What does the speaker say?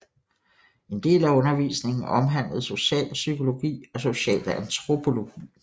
En del af undervisningen omhandlede socialpsykologi og socialantropologi